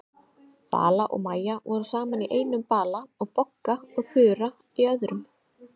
Vala og Maja voru saman í einum bala og Bogga og Þura í öðrum.